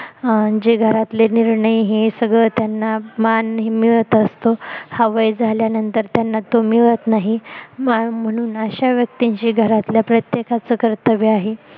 अं जे घरातले निर्णय हे सगळं त्यांना मान हा मिळत असतो हा वय झाल्यानंतर त्यांना तो मिळत नाही म्हणून अश्या व्यक्तींशी घरातल्या प्रत्येकाच कर्तव्य आहे